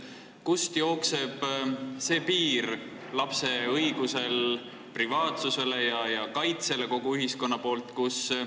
Kust ikkagi jookseb see piir, kus ühel pool on lapse õigus privaatsusele ja kaitsele kogu ühiskonna poolt?